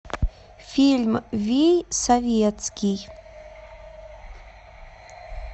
фильм вий советский